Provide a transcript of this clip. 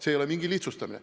See ei ole mingi lihtsustamine.